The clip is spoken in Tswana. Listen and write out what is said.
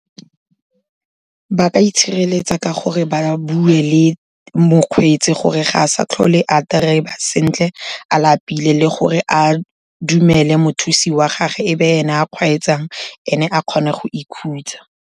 Ba ka itshireletsa ka gore ba bue le mokgweetsi gore ga a sa tlhole a driver sentle a lapile, le gore a dumele mothusi wa gage e be ene a kgweetsang, ene a kgone go ikhutsa.